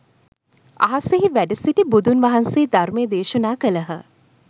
අහසෙහි වැඩ සිටි බුදුන් වහන්සේ ධර්මය දේශනා කළහ.